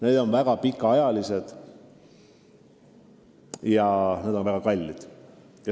Need on väga pikaajalised ja need on väga kallid.